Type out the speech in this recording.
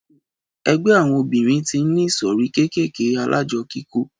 Ẹgbẹ́ àwọn obìrin tí n ní ìsòrí kékèké alájọ kíkó